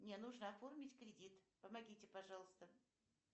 мне нужно оформить кредит помогите пожалуйста